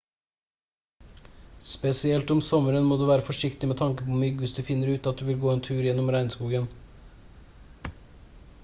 spesielt om sommeren må du være forsiktig med tanke på mygg hvis du finner ut at du vil gå tur gjennom regnskogen